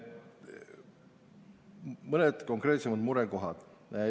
Mõned konkreetsemad murekohad.